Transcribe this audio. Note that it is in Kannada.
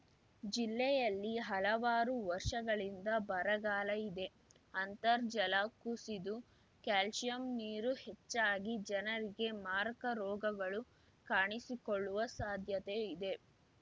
ಜಿಲೆಯಲ್ಲಿ ಹಲವಾರು ವರ್ಷಗಳಿಂದ ಬರಗಾಲ ಇದೆ ಅಂತರ್ ಜಲ ಕುಸಿದು ಕ್ಯಾಲ್ಸಿಯಂ ನೀರು ಹೆಚ್ಚಾಗಿ ಜನರಿಗೆ ಮಾರಕ ರೋಗಗಳು ಕಾಣಿಸಿಕೊಳ್ಳುವ ಸಾಧ್ಯತೆ ಇದೆ